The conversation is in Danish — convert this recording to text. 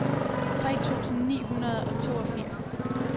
tre tusind ni hundrede og toogfirs